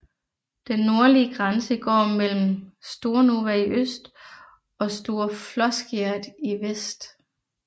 Den nordlige grænse går mellem Stornova i øst og Store Floskjeret i vest